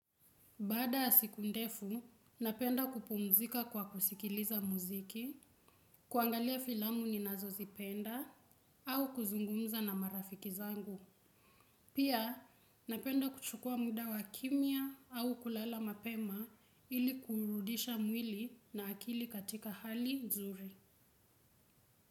Baada ya siku ndefu, napenda kupumzika kwa kusikiliza muziki, kuangalia filamu ni nazo zipenda, au kuzungumza na marafiki zangu. Pia, napenda kuchukua muda wa kimya au kulala mapema ili kuurudisha mwili na akili katika hali nzuri.